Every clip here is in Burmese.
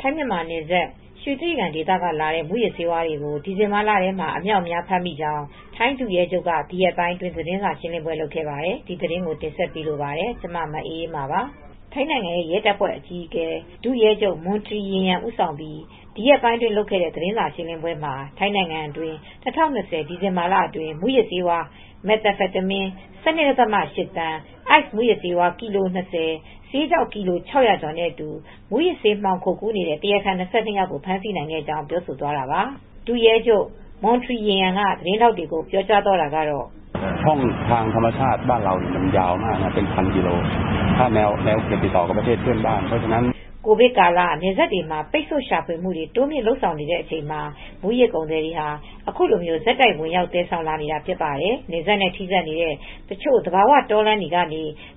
ထိုင်း-မြန်မာနယ်စပ် ရွှေတြိဂံဒေသကလာတဲ့ မူးယစ်ဆေးဝါးတွေကို ဒီဇင်ဘာလထဲမှာ အမြောက်အမြား ဖမ်းမိကြောင်း ထိုင်းဒုရဲချုပ်က ဒီရက်ပိုင်းအတွင်း သတင်းစာရှင်းလင်းပွဲ လုပ်ခဲ့ပါတယ်။ အပြည့်အစုံကို ထိုင်းအခြေစိုက် ဗွီအိုအေမြန်မာပိုင်း သတင်းထောက် မအေးအေးမာ တင်ပြထားပါတယ်။ ထိုင်းနိုင်ငံ ရဲတပ်ဖွဲ့အကြီးအကဲ ဒုရဲချုပ် Montree Yimyam ဦးဆောင်ပြီး ဒီရက်ပိုင်းအတွင်း လုပ်ခဲ့တဲ့ သတင်းစာရှင်းလင်းပွဲမှာ ထိုင်းနိုင်ငံအတွင်း ၂၀၂၀ ဒီဇင်ဘာလအတွင်းမှာ မူးယစ်ဆေးဝါး မက်သာဖက်တမင်း ၁၂.၈ သန်း၊ အိုက်စ်မူးယစ်ဆေး ကီလို ၂၀၊ ဆေးခြောက် ကီလို ၆၀၀ ကျော်နဲ့အတူ မူးယစ်ဆေးမှောင်ခိုကူးနေတဲ့ တရားခံ ၂၂ ယောက်ကို ဖမ်းဆီးနိုင်ခဲ့ကြောင်း ပြောဆိုသွားတာပါ။ ဒုရဲချုပ် Montree Yimyam က သတင်းထောက်တွေကို အခုလို ပြောသွားပါတယ်။ “ကိုဗစ်ကာလ နယ်စပ်တွေမှာ ပိတ်ဆို့ရှာဖွေမှုတွေ တိုးမြှင့်လုပ်ဆောင်နေတဲ့ အချိန်မှာ မူးယစ်ကုန်သည်တွေဟာ အခုလို ဆက်တိုက်ဝင်ရောက် သယ်ဆောင်လာနေတာ ဖြစ်ပါတယ်။ နယ်စပ်နဲ့ ထိစပ်နေတဲ့ တချို့ သဘာဝ တောလမ်းတွေဟာ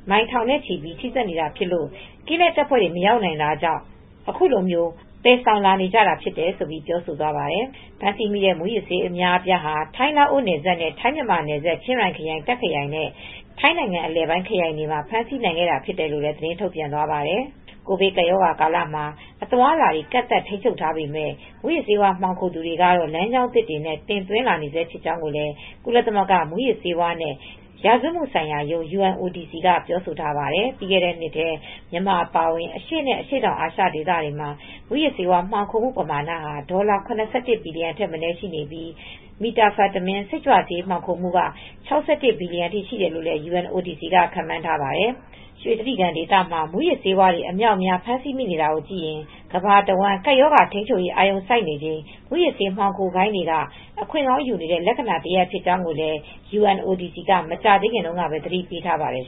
မိုင်ထောင်နဲ့ချီ ထိစပ်နေတာဖြစ်ပြီး ကင်းလှည့်တပ်ဖွဲ့တွေ မရောက်နိုင်တာကြောင့် အခုလို သယ်ဆောင်နေကြတာ ဖြစ်တယ်။” ဖမ်းမိခဲ့တဲ့ မူးယစ်ဆေးဝါးတွေဟာ ထိုင်း-လာအိုနယ်စပ်နဲ့ ထိုင်း-မြန်မာနယ်စပ် ချင်းရိုင်ခရိုင်၊ တာ့ခ်ခရိုင်နဲ့ ထိုင်းနိုင်ငံအလယ်ပိုင်း ခရိုင်တွေမှာ ဖမ်းဆီးနိုင်ခဲ့တာ ဖြစ်တယ်လို့ သတင်းထုတ်ပြန်သွားပါတယ်။ ကိုဗစ်ကပ်ရောဂါကာလမှာ အသွားအလာတွေ ကန့်သတ်ထိန်းချုပ်ထားပေမယ့် မူးယစ်ဆေးဝါး မှောင်ခိုသူတွေကတော့ လမ်းကြောင်းသစ်တွေနဲ့ တင်သွင်းနေဆဲ ဖြစ်ကြောင်းလည်း ကုလသမဂ္ဂ မူးယစ်ဆေးဝါးနဲ့ ရာဇဝတ်မှုဆိုင်ရာရုံး (UNODC) က ပြောဆိုထားပါတယ်။ ပြီးခဲ့တဲ့နှစ်ထဲ မြန်မာနိုင်ငံ အပါအဝင် အရှေ့နဲ့ အရှေ့တောင်အာရှဒေသမှာ မူးယစ်ဆေးဝါး မှောင်ခိုမှုပမာဏဟာ ဒေါ်လာ ၇၁ ဘီလီယံထက်မနည်း ရှိခဲ့ပြီး ဒီအထဲမှာ Methamphetamine စိတ်ကြွဆေး မှောင်ခိုမှုက ၆၁ ဘီလီယံအထိ ရှိတယ်လို့လည်း UNODC က ခန့်မှန်းထားပါတယ်။ ရွှေတြိဂံဒေသမှာ မူးယစ်ဆေးတွေ အများအပြား ဖမ်းဆီးမိနေတာကို ကြည့်ရင် ကမ္ဘာတဝန်း ကပ်ရောဂါထိန်းချုပ်ရေး အာရုံစိုက်နေချိန် မူးယစ်ဆေး မှောင်ခိုဂိုဏ်းတွေက အခွင့်ကောင်းယူနေတဲ့ လက္ခဏာတရပ် ဖြစ်ကြောင်းလည်း UNODC က မကြာသေးခင်တုန်းကပဲ သတိပေးထားပါတယ်